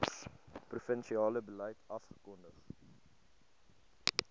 provinsiale beleid afgekondig